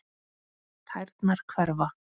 Tærnar hverfa.